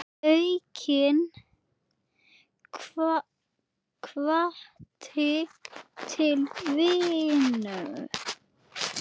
Aukinn hvati til vinnu.